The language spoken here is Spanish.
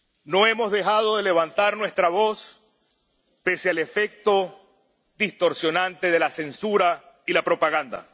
No hemos dejado de levantar nuestra voz pese al efecto distorsionante de la censura y la propaganda.